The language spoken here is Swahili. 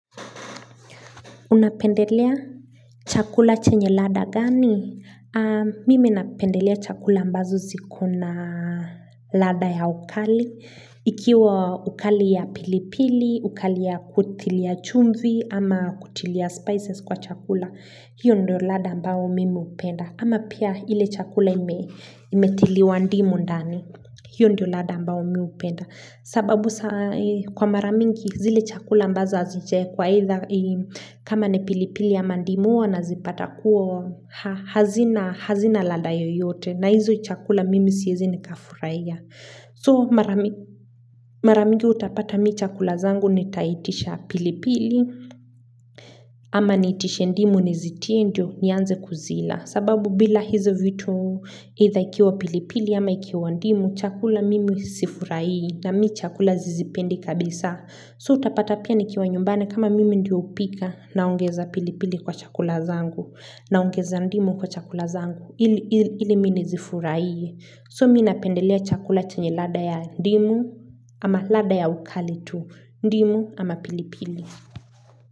Unapendelea chakula chenye lada gani? Mimi napendelea chakula ambazo ziko na ladha ya ukali. Ikiwa ukali ya pilipili, ukali ya kutilia chumvi, ama kutilia spices kwa chakula. Hiyo ndio lada ambao mimi hupenda. Ama pia ile chakula ime imetiliwa ndimu ndani. Hiyo ndio lada ambao mimi upenda. Sababu kwa mara mingi zile chakula ambazo hazijaekwa eitha kama ni pilipili ya mandimu hua nazipata kuo hazina haxina lada yoyote na hizo chakula mimi siezi nika furahia. So mara migi mara mingi utapata mi chakula zangu nitaitisha pilipili ama niitishe ndimu nizitie ndio nianze kuzila. Sababu bila hizo vitu either ikiwa pilipili ama ikiwa ndimu chakula mimi sifurahii na mi chakula zizipendi kabisa. So utapata pia nikiwa nyumbane kama mimi ndio upika na ungeza pilipili kwa chakula zangu na ongeza ndimu kwa chakula zangu. Ili mi nizifuraiye so mi napendelea chakula chenye lada ya ndimu ama lada ya ukali tu ndimu ama pilipili.